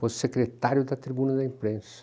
Pois secretário da tribuna da imprensa.